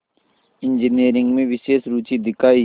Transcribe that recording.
engineering में विशेष रुचि दिखाई